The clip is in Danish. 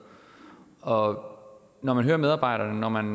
når når man hører medarbejderne når man